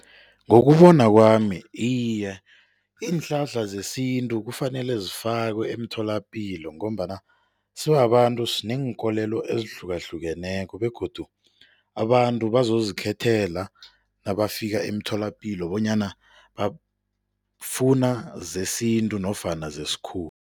Ngokubona kwami, iye. Iinhlahla zesintu kufanele zifakwe emtholapilo ngombana sibabantu sineenkolelo ezihlukahlukeneko begodu abantu bazozikhethela nabafika emtholapilo bona bafuna zesintu nofana zesikhuwa.